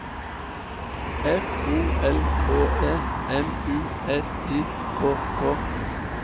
F O L K E M U S I K K